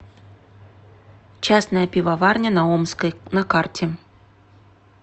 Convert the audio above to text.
частная пивоварня на омской на карте